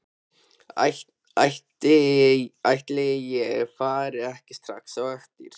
Ætli ég fari ekki strax á eftir.